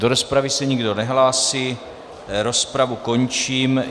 Do rozpravy se nikdo nehlásí, rozpravu končím.